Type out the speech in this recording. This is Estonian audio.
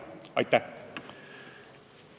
Aitäh!